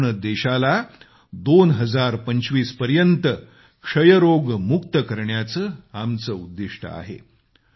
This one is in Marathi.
संपूर्ण देशाला 2025 पर्यत क्षयरोगमुक्त करण्याचं आमचं लक्ष्य आहे